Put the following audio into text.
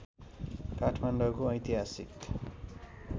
काठमाडौँको ऐतिहासिक